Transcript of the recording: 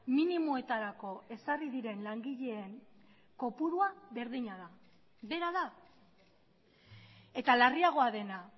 minimoetarako ezarri diren langileen kopurua berdina da bera da eta larriagoa dena